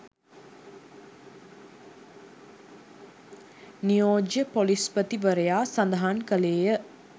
නියෝජ්‍ය පොලිස්පතිවරයා සඳහන් කළේය.